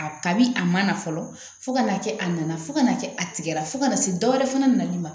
A kabi a man na fɔlɔ fo ka n'a kɛ a nana fo ka n'a kɛ a tigɛra fo ka na se dɔwɛrɛ fana nali ma